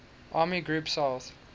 army group south